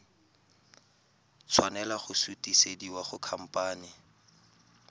tshwanela go sutisediwa go khamphane